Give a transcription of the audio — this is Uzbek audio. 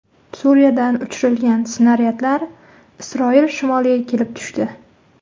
Suriyadan uchirilgan snaryadlar Isroil shimoliga kelib tushdi.